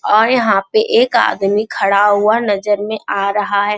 और यहाँ पे एक आदमी खड़ा हुआ नज़र में आ रहा है।